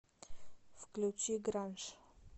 включи гранж